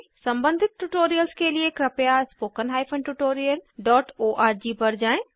सम्बंधित ट्यूटोरियल्स के लिए कृपया स्पोकेन हाइफन tutorialओआरजी पर जाएँ